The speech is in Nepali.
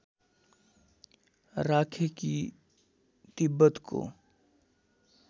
राखे कि तिब्बतको